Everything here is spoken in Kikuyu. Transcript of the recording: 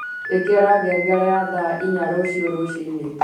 ikira ngengere ya thaa iyaa rũciũ rũciinĩ